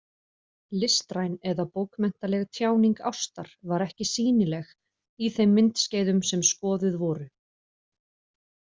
Listræn eða bókmenntaleg tjáning ástar var ekki sýnileg í þeim myndskeiðum, sem skoðuð voru.